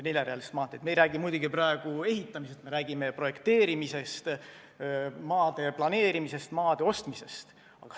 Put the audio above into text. Me ei räägi praegu muidugi ehitamisest, me räägime projekteerimisest, maade planeerimisest, maade ostmisest.